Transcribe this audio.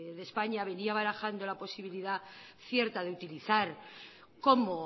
de españa venía barajando la posibilidad cierta de utilizar como